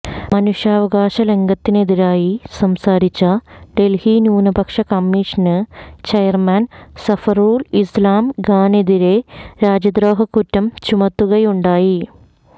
മനുഷ്യവകാശലംഘനത്തിനെതിരായി സംസാരിച്ച ഡല്ഹി ന്യൂനപക്ഷ commission chairman Zafarul Islam ഖാനെതിരേ രാജ്യദ്രോഹക്കുറ്റം ചുമത്തുകയുണ്ടായി